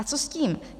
A co s tím?